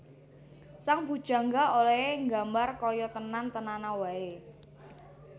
Sang bujangga olèhé nggambar kaya tenan tenana waé